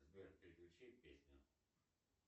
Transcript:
сбер переключи песню